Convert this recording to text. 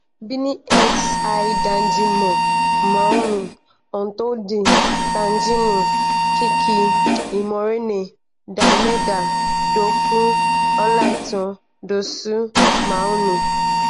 benin xi:dandjinou; moumini houtondji tijani kiki; imourane d'almeida dokou; olaitan dossou mounie.